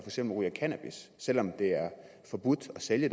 eksempel ryger cannabis selv om det er forbudt at sælge